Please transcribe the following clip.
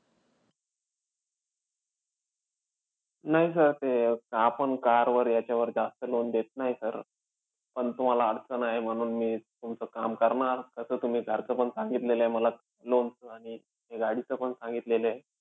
नाही sir ते, आपण car वर याच्यावर जास्त loan देत नाही sir. पण तुम्हाला अडचण आहे, म्हणून मी तुमचं काम करणार. तसं तुम्ही घरचं पण सांगितलेलयं मला loan चं आणि हे गाडीचं पण सांगितलेलयं.